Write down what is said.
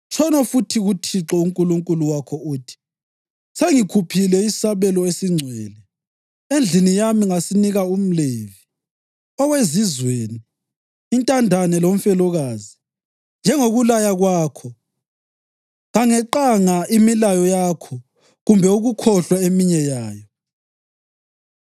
Tshono futhi kuThixo uNkulunkulu wakho uthi: ‘Sengikhuphile isabelo esingcwele endlini yami ngasinika umLevi, owezizweni, intandane lomfelokazi, njengokulaya kwakho. Kangeqanga imilayo yakho kumbe ukukhohlwa eminye yayo.